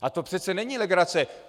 A to přece není legrace.